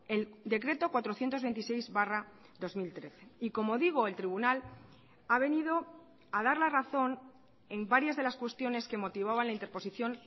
el decreto cuatrocientos veintiséis barra dos mil trece y como digo el tribunal ha venido a dar la razón en varias de las cuestiones que motivaban la interposición